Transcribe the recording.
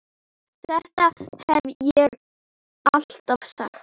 Þetta hef ég alltaf sagt!